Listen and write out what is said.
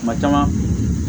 Kuma caman